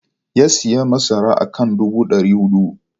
Ya sayi masara akan dubu dari hudu.